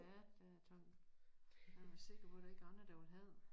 Ja der er taget han være sikker på der ikke er andre der ville have det